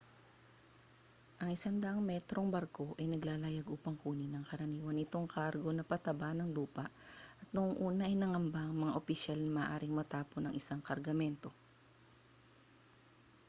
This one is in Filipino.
ang 100-metrong barko ay naglalayag upang kunin ang karaniwan nitong kargo na pataba ng lupa at noong una ay nangamba ang mga opisyal na maaaring matapon ang isang kargamento